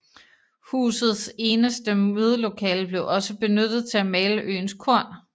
Husets eneste mødelokale blev også benyttet til at male øens korn